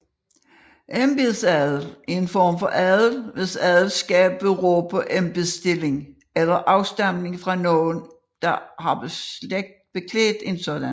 Embedsadel er en form for adel hvis adelskab beror på embedsstilling eller afstamning fra nogen der har beklædt en sådan